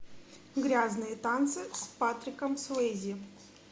грязные танцы с патриком суэйзи